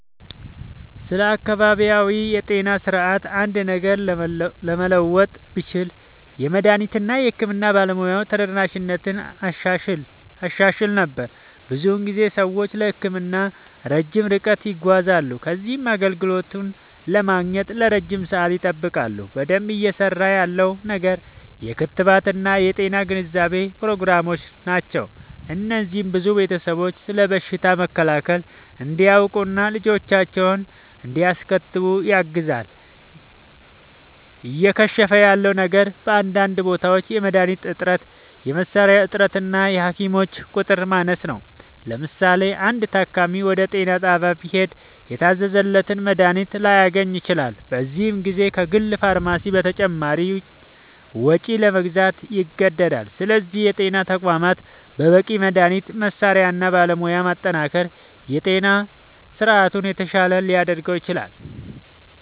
ስለ አካባቢያዊ የጤና ስርዓት አንድ ነገር ለመለወጥ ብችል፣ የመድኃኒት እና የሕክምና ባለሙያዎች ተደራሽነትን አሻሽል ነበር። ብዙ ጊዜ ሰዎች ለሕክምና ረጅም ርቀት ይጓዛሉ ከዚያም አገልግሎቱን ለማግኘት ለረጅም ሰዓት ይጠብቃሉ። በደንብ እየሠራ ያለው ነገር የክትባት እና የጤና ግንዛቤ ፕሮግራሞች ናቸው። እነዚህ ብዙ ቤተሰቦች ስለ በሽታ መከላከል እንዲያውቁ እና ልጆቻቸውን እንዲያስከትቡ ያግዛሉ። እየከሸፈ ያለ ነገር በአንዳንድ ቦታዎች የመድኃኒት እጥረት፣ የመሣሪያ እጥረት እና የሐኪሞች ቁጥር ማነስ ነው። ለምሳሌ፣ አንድ ታካሚ ወደ ጤና ጣቢያ ቢሄድ የታዘዘለትን መድኃኒት ላያገኝ ይችላል፤ በዚህ ጊዜ ከግል ፋርማሲ በተጨማሪ ወጪ ለመግዛት ይገደዳል። ስለዚህ የጤና ተቋማትን በበቂ መድኃኒት፣ መሣሪያ እና ባለሙያ ማጠናከር የጤና ስርዓቱን የተሻለ ሊያደርገው ይችላል።